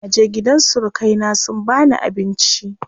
Naje gidan surukai na sun bani abinci.